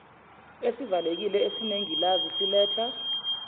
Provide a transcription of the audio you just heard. esivalekile esinengilazi siletha